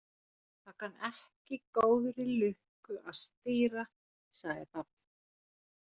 Það kann ekki góðri lukku að stýra, sagði pabbi.